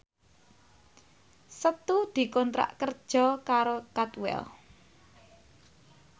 Setu dikontrak kerja karo Cadwell